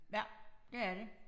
Ja det er de